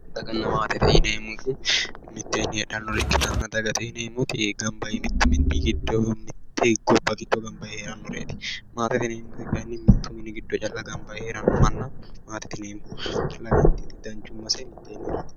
daganna maatete yineemmoti mitteenni heedhannore ikkitanna dagate yineemmo manni gamba yee mittu quchumi giddo heerannoreeti maatete yineemmoti kayinni mittu mini giddo calla heedhannota maatete yineemmo danchummase mitteenni heerate.